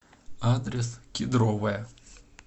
адрес кедровая